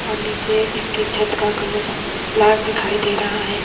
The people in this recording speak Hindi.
और नीचे इसकी छत का कलर लाक दिखाई दे रहा है।